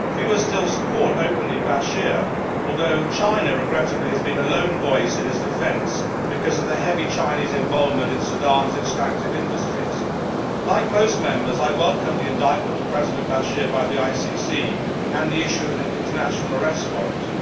Fewer still support Bashir openly, although China regrettably has been a lone voice in his defence because of the heavy Chinese involvement in Sudan's extractive industries. Like most Members, I welcome the indictment of President Bashir by the ICC and the issue of an international arrest warrant.